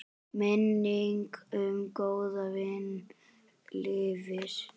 Minning um góðan vin lifir.